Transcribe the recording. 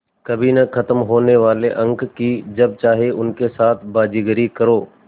कभी न ख़त्म होने वाले अंक कि जब चाहे उनके साथ बाज़ीगरी करो